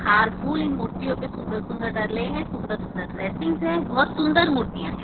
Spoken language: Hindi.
हार फूल इन मूर्तियों पर सुंदर सुंदर डाले हैं सुंदर सुंदर ड्रेसिंग है बहुत सुंदर मूर्तियां हैं।